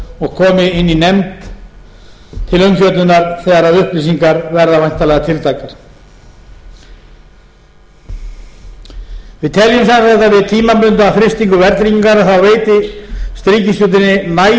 og komi inn í nefnd til umfjöllunar þegar upplýsingar verða væntanlega tiltækar við teljum við tímabundna frystingu verðtryggingar veitist ríkisstjórninni nægilegt ráðrúm til framhaldsaðgerða þeirri ríkisstjórn sem tekur við